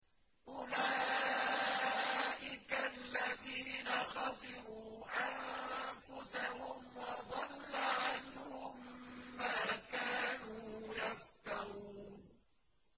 أُولَٰئِكَ الَّذِينَ خَسِرُوا أَنفُسَهُمْ وَضَلَّ عَنْهُم مَّا كَانُوا يَفْتَرُونَ